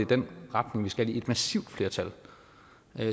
den retning vi skal et massivt flertal